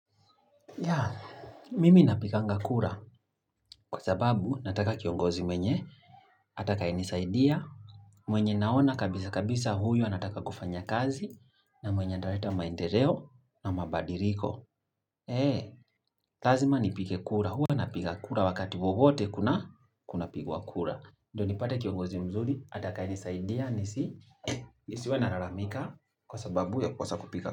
Ya, mimi napiganga kura, kwa sababu nataka kiongozi mwenye, atakayenisaidia, mwenye naona kabisa kabisa huyo anataka kufanya kazi, na mwenye ataleta maendeleo na mabadiliko. He, lazima nipige kura. Huwa napiga kura wakati wowote kuna kuna pigwa kura. Ndio nipate kiongozi mzuri, atakaye nisaidia, nisiwe nalalamika kwa sababu ya kukosa kupiga kura.